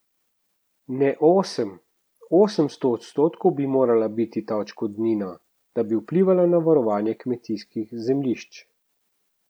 Ne osem, osemsto odstotkov bi morala biti ta odškodnina, da bi vplivala na varovanje kmetijskih zemljišč!